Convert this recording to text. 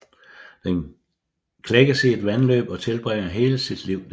Den klækkes i et vandløb og tilbringer hele sit liv der